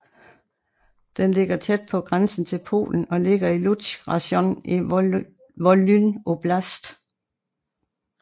Den ligger tæt på grænsen til Polen og ligger i Lutsk rajon i Volyn oblast